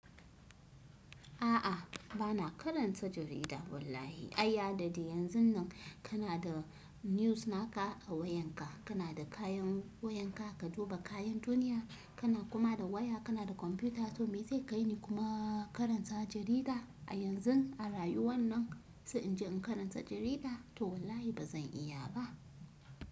A'a, ba na karanta jarida wallahi. A ya da da yanzun nan kana da news naka a wayanka, kana da kayan wayanka, ka duba kayan duniya, kana kuma da waya, kana da kwamfuta, to me zai kai ni kuma karanta jarida a yanzun a rayuwar nan? Sa in je in karanta jarida to wallahi ba zan iya ba.